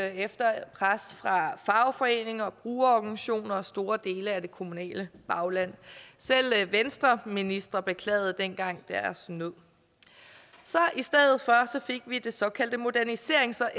efter pres fra fagforeninger brugerorganisationer og store dele af det kommunale bagland selv venstreministre beklagede dengang deres nød i stedet fik vi det såkaldte moderniserings og